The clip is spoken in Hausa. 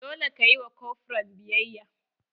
Dole ka yi ma kofran biyayya!